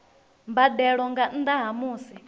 mbadelo nga nnda ha musi